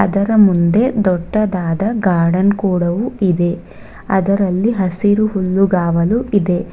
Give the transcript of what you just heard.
ಅದರ ಮುಂದೆ ದೊಡ್ಡದಾದ ಗಾರ್ಡನ್ ಕೂಡವು ಇದೆ ಅದರಲ್ಲಿ ಹಸಿರು ಹುಲ್ಲುಗಾವಲು ಇದೆ.